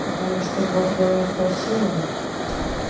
потому что бог даёт по силам